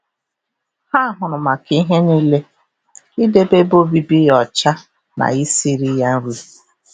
Ha hụrụ maka ihe nile, idebe ebe obibi ya ọcha na isiri ya nri.